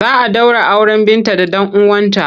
Za a ɗaura auren Binta da ɗan uwanta.